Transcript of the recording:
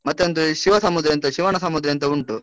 ಮತ್ತೆ ಒಂದು ಶಿವಸಮುದ್ರ ಎಂತ, ಶಿವನಸಮುದ್ರ ಅಂತ ಉಂಟು.